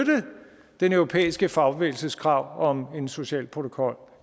den europæiske fagbevægelses krav om en social protokol